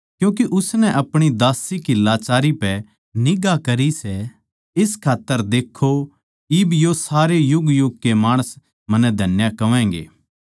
क्यूँके उसनै अपणी दास्सी की लाचारी पै निगांह करी सै इस खात्तर देक्खो इब तै सारे युगयुग कै माणस मन्नै धन्य कहवैगें